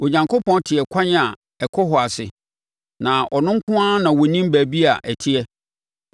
Onyankopɔn te ɛkwan a ɛkɔ hɔ ase, na ɔno nko ara na ɔnim baabi a ɛteɛ,